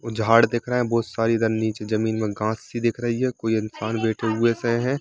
झाड़ दिख रहा है बहुत सारे इधर नीचे जमीन मे घास-सी दिख रही है कोई इंसान बैठे हुए से है।